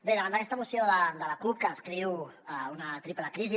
bé davant d’aquesta moció de la cup que descriu una triple crisi